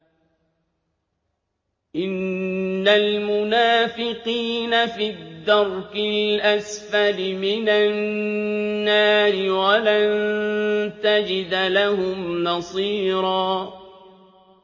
إِنَّ الْمُنَافِقِينَ فِي الدَّرْكِ الْأَسْفَلِ مِنَ النَّارِ وَلَن تَجِدَ لَهُمْ نَصِيرًا